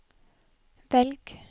velg